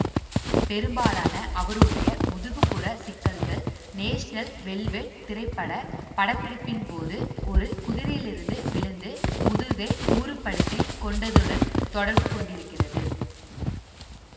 பெரும்பாலான அவருடைய முதுகு புற சிக்கல்கள் நேஷனல் வெல்வெட் திரைப்பட படப்பிடிப்பின்போது ஒரு குதிரையிலிருந்து விழுந்து முதுகை ஊறுபடுத்திக் கொண்டதுடன் தொடர்புகொண்டிருக்கிறது